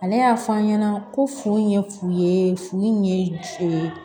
Ale y'a f'an ɲɛna ko furu in ye fu ye fu in ye